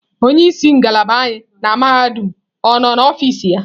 Onye isi ngalaba anyị na mahadum ọ nọ n'ọfịs ya?